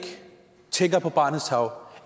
tænker på barnets tarv